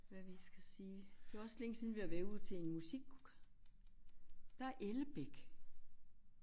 Hvad vi skal sige det er også længe siden vi har været ude til en musik. Der er Ellebæk